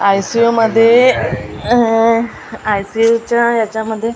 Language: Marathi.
आय_सी_यु मध्ये अह आय_सी_यु च्या ह्याच्यामध्ये--